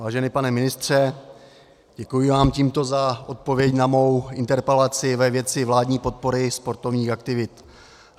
Vážený pane ministře, děkuji vám tímto za odpověď na mou interpelaci ve věci vládní podpory sportovních aktivit.